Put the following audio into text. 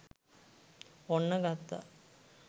ඔන්න ගත්තා